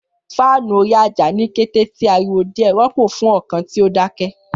Faáànù orí ájá, ni kete ti ariwo diẹ, rọpo fun ọkan ti o dakẹ.